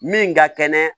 Min ka kɛnɛ